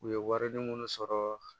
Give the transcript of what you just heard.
U ye wari munnu sɔrɔ